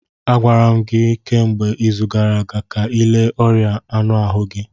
Agwara m gị kemgbe izu gara aga ka ịle ọrịa anụ ahụ gị